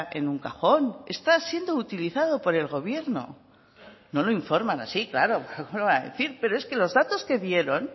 en un cajón está siendo utilizado por el gobierno no lo informan así claro cómo lo van a decir pero es que los datos que dieron